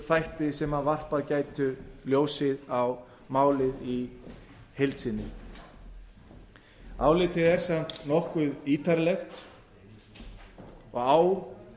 þætti sem varpað gætu ljósi á málið í heild sinni álitið er samt nokkuð ítarlegt og á